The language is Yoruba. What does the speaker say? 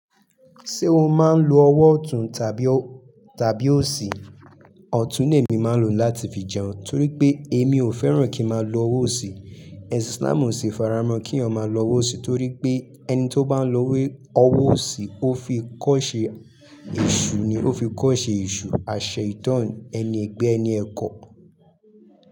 Ṣé o máa ń lo ọwọ́ ọ̀tún tàbí òsì? Ọ̀tún ni èmi máa ń lò láti fi jẹun torí pé èmi ò fẹ́ràn kí máa lo ọwọ́ òsì. Ẹ̀sìn Islam ò ṣi faramọ́ kí'yan lọ́wọ́ òsì torí pé ẹni tó bá ń lọ ọwọ́ òsì ó fi kọ́ṣẹ́ èṣù ni, ó fi kọ́ṣẹ́ èṣù àṣẹ ìtàn ẹni ẹ̀gbẹ́ ẹni ẹ̀kọ.